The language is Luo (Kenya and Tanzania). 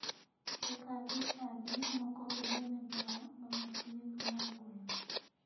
Eka jochadi moko bende ne dwaro mama pith mar gwen.